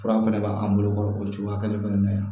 Fura fɛnɛ b'an bolo o cogoya kelen fɛnɛ na yan